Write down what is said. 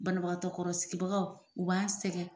Banabagatɔ kɔrɔ sigibagaw u b'an sɛngɛ.